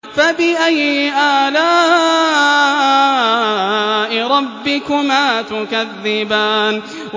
فَبِأَيِّ آلَاءِ رَبِّكُمَا تُكَذِّبَانِ